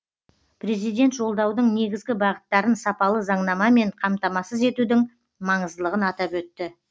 президент жолдаудың негізгі бағыттарын сапалы заңнамамен қамтамасыз етудің маңыздылығын атап өтті